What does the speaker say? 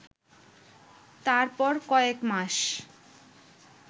তারপর কয়েক মাস